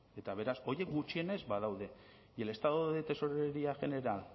eta beraz horiek gutxienez badaude y el estado de tesorería general